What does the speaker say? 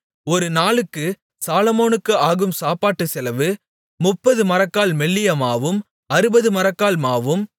ஒரு நாளுக்கு சாலொமோனுக்கு ஆகும் சாப்பாட்டுச் செலவு முப்பது மரக்கால் மெல்லிய மாவும் அறுபது மரக்கால் மாவும்